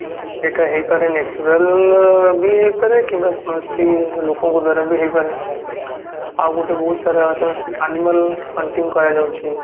ସେଇଟା ହେଇପାରେ natural ବି ହେଇପାରେ କିମ୍ବା ସେ ଲୋକଙ୍କ ଦ୍ଵାରା ବି ହେଇପାରେ ଆଉ ଗୋଟେ ବହୁତ ସାରା animal hunting କରାଯାଉଛି